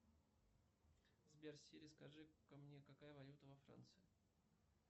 сбер сири скажи ка мне какая валюта во франции